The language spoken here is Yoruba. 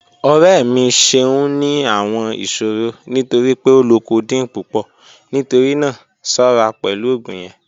Ọrẹ mi ṣẹun ni awọn iṣòrọ̀ nítorí pé ó lọ codeine pupọ̀, nítorí náà ṣọra pẹ̀lú ogun yẹn